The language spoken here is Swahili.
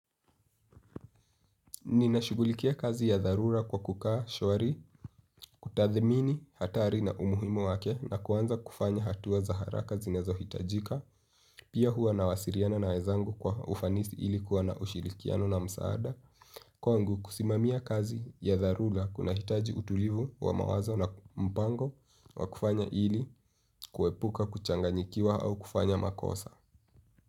Ninashughulikia kazi ya dharura kwa kukaa shwari kutathimini hatari na umuhimu wake na kuanza kufanya hatua za haraka zinazohitajika. Pia huwa nawasiliana na wezangu kwa ufanisi ili kuwa na ushirikiano na msaada. Kwangu kusimamia kazi ya dharura kunahitaji utulivu wa mawazo na mpango wa kufanya ili kuepuka kuchanganyikiwa au kufanya makosa.